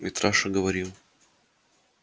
митраша говорил